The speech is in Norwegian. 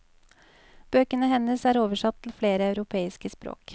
Bøkene hennes er oversatt til flere europeiske språk.